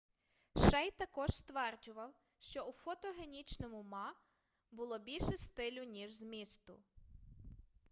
шей також стверджував що у фотогенічному ма було більше стилю ніж змісту